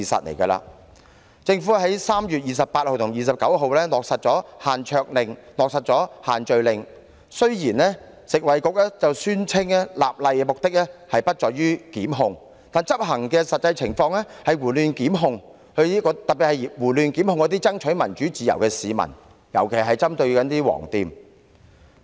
當局在3月28日及29日落實推行限桌令和限聚令，雖然食物及衞生局表示立例目的不在於檢控，但實際執行情況卻是胡亂作出檢控，特別是胡亂檢控爭取民主自由的市民，特別針對"黃店"。